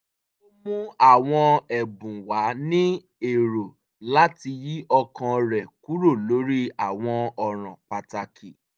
ó mú àwọn ẹ̀bùn wá ní èrò láti yí ọkàn rẹ̀ kúrò lórí àwọn ọ̀ràn pàtàkì